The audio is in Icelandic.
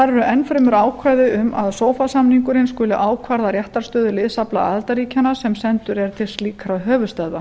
eru enn fremur ákvæði um að sofa samningurinn skuli ákvarða réttarstöðu liðsafla aðildarríkjanna sem sendur er til slíkra höfuðstöðva